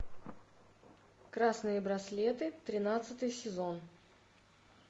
красные браслеты тринадцатый сезон